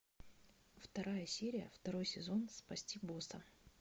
вторая серия второй сезон спасти босса